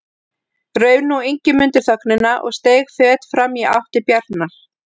Rauf nú Ingimundur þögnina og steig fet fram í átt til Bjarnar.